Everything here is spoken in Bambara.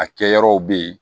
A kɛ yɔrɔw be yen